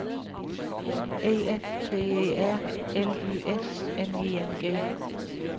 E F T E R L Y S N I N G